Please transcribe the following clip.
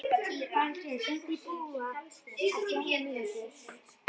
Falgeir, hringdu í Búa eftir níutíu mínútur.